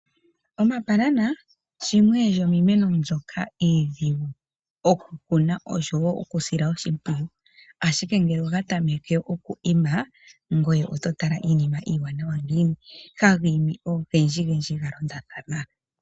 Omambanana shimwe shomiimeno mbyoka iidhigu oku kuna osho wo okusila oshimpwiyu, ashike ngele oga tameke oku ima, ngoye oto tala iinima iiwanawa ngiini, haga imi ogendjigendji ga londathana.